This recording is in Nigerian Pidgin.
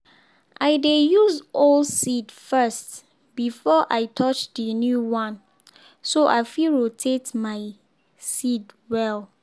i dey use old seed first before i touch the new one so i fit rotate my seed well.